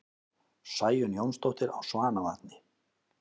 Sæunn Jónsdóttir á Svanavatni